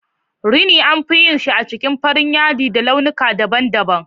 Rini anfi yin sa a jikin farar yadi da launika daban daban